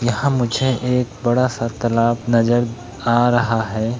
यहाँ मुझे एक बड़ा सा तालाब नज़र आ रहा है।